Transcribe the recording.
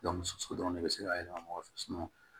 so dɔrɔn ne bɛ se k'a yɛlɛma ɲɔgɔn fɛ